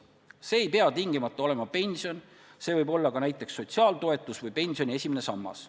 See ei pea tingimata olema pension, see võib olla ka näiteks sotsiaaltoetus või pensioni esimene sammas.